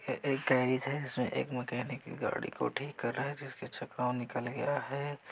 है ये एक गेरिज है इसमे एक मैकेनिक गाड़ी को ठीक कर रहा है जिसके चक्का निकल गया है।